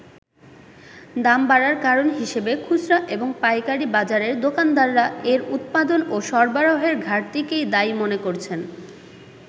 দাম বাড়ার কারণ হিসেবে খুচরা এবং পাইকারি বাজারের দোকানদাররা এর উৎপাদন ও সরবরাহের ঘাটতিকেই দায়ী মনে করছেন।